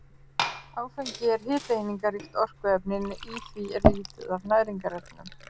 Áfengi er hitaeiningaríkt orkuefni en í því er lítið af næringarefnum.